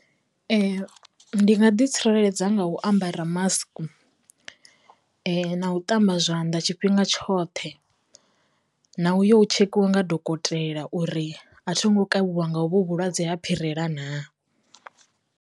Ndi nga ḓi tsireledza nga u ambara mask na u ṱamba zwanḓa tshifhinga tshoṱhe, na u yo tshekhiwa nga dokotela uri a tho ngo kavhiwa nga u vho vhulwadze ha phirela naa.